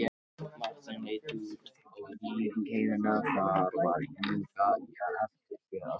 Marteinn leit út á lyngheiðina, þar var enga eftirför að sjá.